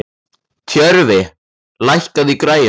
Tjörfi, lækkaðu í græjunum.